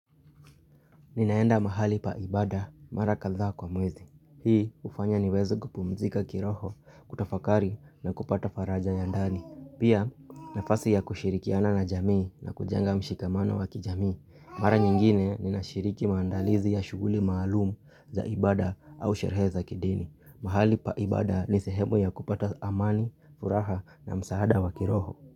Ninaenda mahali pa ibada mara kadhaa kwa mwezi. Hii hufanya niweze kupumzika kiroho, kutafakari na kupata faraja ya ndani. Pia nafasi ya kushirikiana na jamii na kujenga mshikamano wa kijamii. Mara nyingine ninashiriki maandalizi ya shughuli maalumu za ibada au sherehe za kidini. Mahali pa ibada ni sehemu ya kupata amani, furaha na msaada wa kiroho.